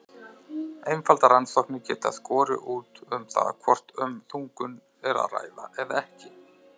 Einfaldar rannsóknir geta skorið úr um það hvort um þungun er að ræða eða ekki.